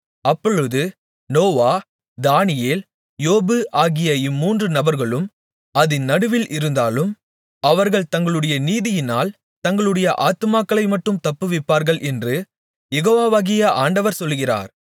அப்பொழுது Noah Daniel யோபு ஆகிய இம்மூன்று நபர்களும் அதின் நடுவில் இருந்தாலும் அவர்கள் தங்களுடைய நீதியினால் தங்களுடைய ஆத்துமாக்களைமட்டும் தப்புவிப்பார்கள் என்று யெகோவாகிய ஆண்டவர் சொல்லுகிறார்